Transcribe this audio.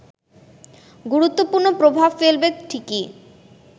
গুরুত্বপূর্ণ প্রভাব ফেলবে ঠিকই